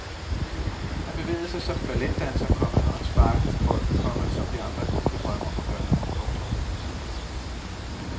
Han bevægede sig som en balletdanser, komma og han sparkede til bolden, komma som vi andre kun kan drømme om at gøre det. punktum